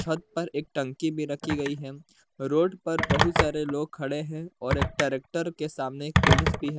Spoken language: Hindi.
थत पर एक टंकी भी रखी गई है रोड पर बहुत सारे लोग खड़े है और एक ट्रैक्टर के सामने पुलिस भी है।